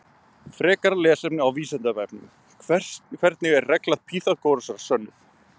Frekara lesefni á Vísindavefnum: Hvernig er regla Pýþagórasar sönnuð?